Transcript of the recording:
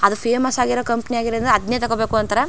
ಅದು ಫೇಮಸ್ ಆಗಿರೋ ಕಂಪನಿ ಆಗಿರೋದ್ರಿಂದ ಅದ್ನೇ ತಕೋಬೇಕು ಅಂತರ್.